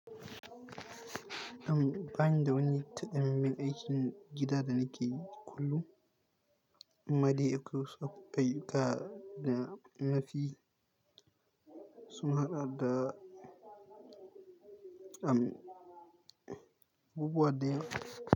Am, bani da wani takamamman aikin gida da nake yi kullun. Amama dai akwai wasu abu ayyuka da na fi sun haɗa da, am, bubuwa da yawa.